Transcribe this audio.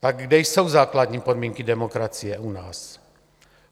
Tak kde jsou základní podmínky demokracie u nás?